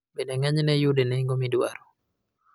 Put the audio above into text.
bende ng'enyne iyude nengo ma idwaro